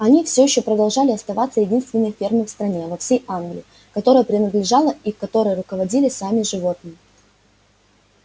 они все ещё продолжали оставаться единственной фермой в стране во всей англии которая принадлежала и которой руководили сами животные